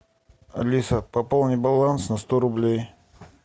алиса пополни баланс на сто рублей